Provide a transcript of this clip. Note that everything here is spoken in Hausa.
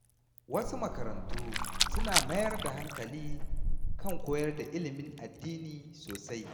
Wasu makarantu suna mayar da hankali kan koyar da ilimin addini sosai.